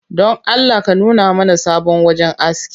Don Allah ka nuna mana sabon wajen aski